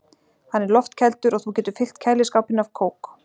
Hann er loftkældur og þú getur fyllt kæliskápinn af kók.